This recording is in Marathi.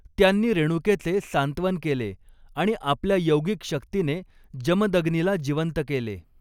त्यांनी रेणुकेचे सांत्वन केले आणि आपल्या यौगिक शक्तीने जमदग्नीला जिवंत केले.